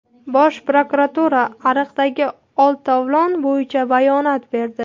Bosh prokuratura "ariqdagi oltovlon" bo‘yicha bayonot berdi.